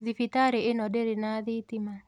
Thibitarĩ ĩno ndĩrĩ na thitima.